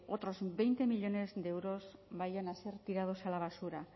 otros así que veinte millónes de euros vayan a ser tirados a la basura